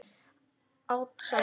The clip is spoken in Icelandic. Át sand.